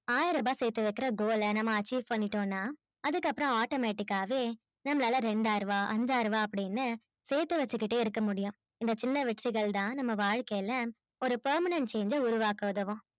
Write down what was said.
ஆயிரபா சேத்துவைக்குற goal ல நம்ம achieve பண்ணிட்டோம் னா அதுக்கப்புறம் automatic ஆவே நம்மளால ரெண்டாயிரபா அன்ஜாயிரபா அப்பிடின்னு சேத்து வசிகிட்டே இருக்க முடியும் இந்த சின்ன வெற்றிகள் தான் நம்ம வாழ்கையில ஒரு permanent change அ உருவாக்க உதவும்